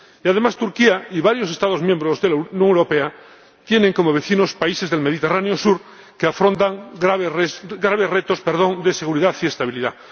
Y además, Turquía y varios Estados miembros de la Unión Europea tienen como vecinos países del Mediterráneo sur que afrontan graves retos de seguridad y estabilidad.